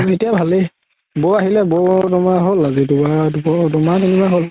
এতিয়া ভালে বৌ আহিলে বৌ হ'ল আজি দুহমাহ তিনিমাহ হ'ল